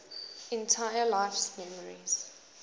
entire life's memories